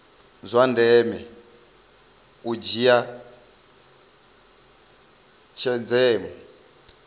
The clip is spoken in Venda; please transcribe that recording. zwa ndeme u dzhia tshenzhemo